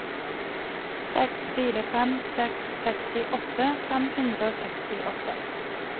seks fire fem seks sekstiåtte fem hundre og sekstiåtte